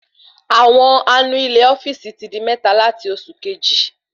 Àwọn anu ilé ofíìsì ti di méta lati oṣù Kejì